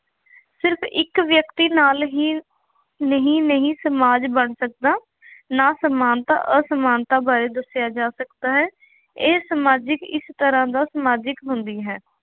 ਸਿਰਫ ਇੱਕ ਵਿਅਕਤੀ ਨਾਲ ਹੀ, ਨਹੀਂ ਨਹੀਂ ਸਮਾਜ ਬਣ ਸਕਦਾ। ਨਾ ਸਮਾਨਤਾ ਅਸਮਾਨਤਾ ਬਾਰੇ ਦੱਸਿਆ ਜਾ ਸਕਦਾ ਹੈ। ਇਹ ਸਮਾਜਿਕ ਇਸ ਤਰ੍ਹਾਂ ਨਾਲ ਸਮਾਜਿਕ ਹੁੰਦੀ ਹੈ।